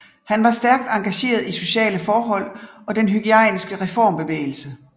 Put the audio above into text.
Han var stærkt engageret i i sociale forhold og den hygiejniske reformbevægelse